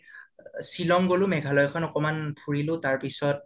মই অলপতে শিলং গ'লো মেঘালয় খন অলপ ঘুৰিলু তাৰপিচত